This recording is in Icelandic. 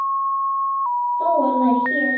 Þó hann væri hér.